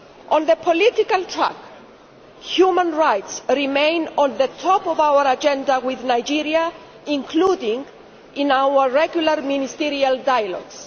On the political tack, human rights remain at the top of our agenda with Nigeria, including in our regular ministerial dialogues.